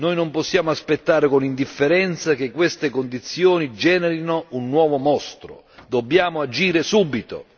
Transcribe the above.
Non possiamo aspettare con indifferenza che queste condizioni generino un nuovo mostro, dobbiamo agire subito.